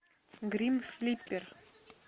грим слипер